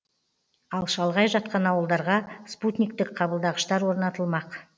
ал шалғай жатқан ауылдарға спутниктік қабылдағыштар орнатылмақ